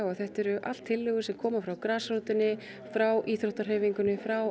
að þetta eru allt tillögur sem koma frá grasrótinni frá íþróttahreyfingunni frá